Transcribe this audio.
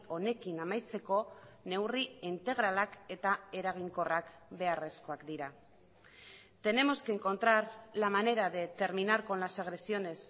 honekin amaitzeko neurri integralak eta eraginkorrak beharrezkoak dira tenemos que encontrar la manera de terminar con las agresiones